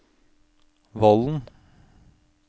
Vollen